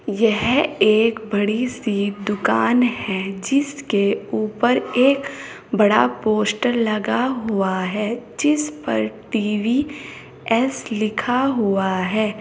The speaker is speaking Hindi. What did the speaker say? यह एक बड़ी सी दुकान है जिसके ऊपर एक बड़ा पोस्टर लगा हुआ है जिस पर टी_वी एस लिखा हुआ है।